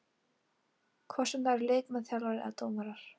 Hvort sem það eru leikmenn, þjálfarar eða dómarar.